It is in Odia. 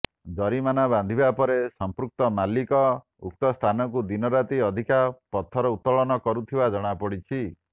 ଜରିମାନା ବାନ୍ଧିବା ପରେ ସମ୍ପୃକ୍ତ ମାଲିକ ଉକ୍ତ ସ୍ଥାନରୁ ଦିନରାତି ଅଧିକା ପଥର ଉତ୍ତୋଳନ କରୁଥିବା ଜଣାପଡ଼ିଛି